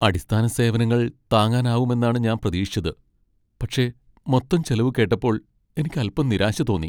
അടിസ്ഥാന സേവനങ്ങൾ താങ്ങാനാവുമെന്നാണ് ഞാൻ പ്രതീക്ഷിച്ചത്, പക്ഷേ മൊത്തം ചെലവ് കേട്ടപ്പോൾ എനിക്ക് അൽപ്പം നിരാശ തോന്നി.